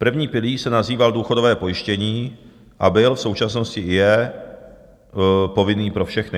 První pilíř se nazýval důchodové pojištění a byl, v současnosti i je, povinný pro všechny.